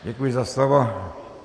Děkuji za slovo.